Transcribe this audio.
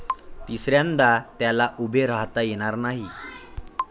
तिसऱ्यांदा त्याला उभे राहता येणार नाही.